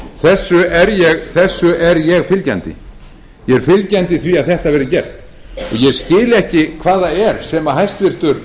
þessu er ég fylgjandi ég er fylgjandi því að þetta verði gert ég skil ekki hvað það er sem hæstvirtur